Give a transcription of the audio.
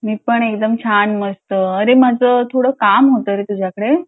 मी पण छान मस्त मला थोडं काम होतं तुझ्याकडे